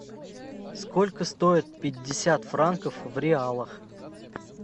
сколько стоит пятьдесят франков в реалах